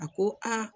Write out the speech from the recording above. A ko a